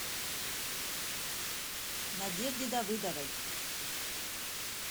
надежде давыдовой